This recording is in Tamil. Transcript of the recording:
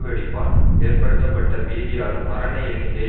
வெடிப்பால் ஏற்படுத்தப்பட்ட பீதியாலும் மரண எண்ணிக்கையை